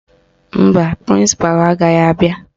Mba, prịnsịpalụ agaghị abịa